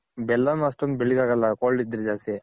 ಬೆಲ್ಲನ್ನು ಅಷ್ಟೊಂದ್ ಬೆಳ್ಳಗ್ ಆಗಲ್ಲ cold ಇದ್ರೆ ಜಾಸ್ತಿ.